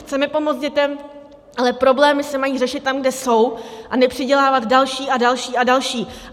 Chceme pomoct dětem, ale problémy se mají řešit tam, kde jsou, a nepřidělávat další a další a další.